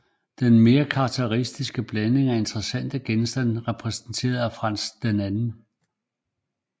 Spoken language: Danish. Den mere karakteristiske blanding af interessante genstande repræsenteret på Frans 2